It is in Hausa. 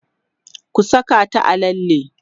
ku Saka ta a lalle!